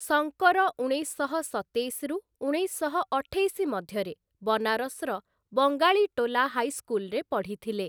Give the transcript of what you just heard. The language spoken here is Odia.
ଶଙ୍କର ଉଣେଇଶଶହ ସତେଇଶରୁ ଉଣେଇଶଶହ ଅଠେଇଶ ମଧ୍ୟରେ ବନାରସ୍‌ର ବଙ୍ଗାଳୀଟୋଲା ହାଇସ୍କୁଲ୍‌ରେ ପଢ଼ିଥିଲେ ।